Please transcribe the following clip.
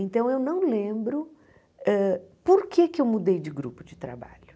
Então, eu não lembro hã por que que eu mudei de grupo de trabalho.